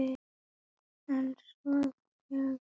En svo þegar til kom þá gat ég það ekki.